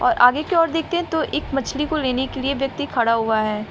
और आगे की ओर देखते हैं तो एक मछली को लेने के लिए व्यक्ति खड़ा हुआ है।